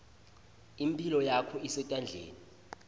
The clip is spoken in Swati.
imphilo yakho isetandleni